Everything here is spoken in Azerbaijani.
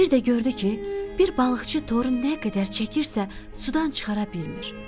Bir də gördü ki, bir balıqçı toru nə qədər çəkirsə, sudan çıxara bilmir.